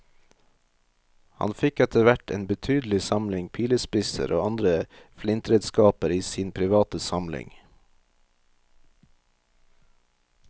Han fikk etterhvert en betydelig samling pilespisser og andre flintredskaper i sin private samling.